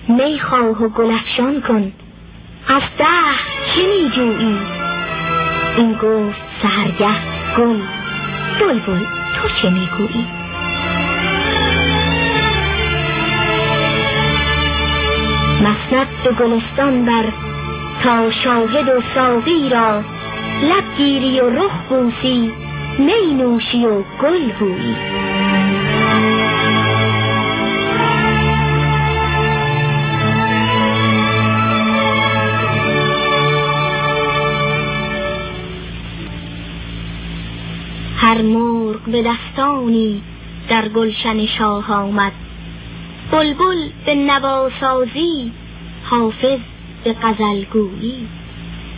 می خواه و گل افشان کن از دهر چه می جویی این گفت سحرگه گل بلبل تو چه می گویی مسند به گلستان بر تا شاهد و ساقی را لب گیری و رخ بوسی می نوشی و گل بویی شمشاد خرامان کن وآهنگ گلستان کن تا سرو بیآموزد از قد تو دل جویی تا غنچه خندانت دولت به که خواهد داد ای شاخ گل رعنا از بهر که می رویی امروز که بازارت پرجوش خریدار است دریاب و بنه گنجی از مایه نیکویی چون شمع نکورویی در رهگذر باد است طرف هنری بربند از شمع نکورویی آن طره که هر جعدش صد نافه چین ارزد خوش بودی اگر بودی بوییش ز خوش خویی هر مرغ به دستانی در گلشن شاه آمد بلبل به نواسازی حافظ به غزل گویی